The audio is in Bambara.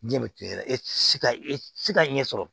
Diɲɛ bɛ se ka se ka ɲɛ sɔrɔ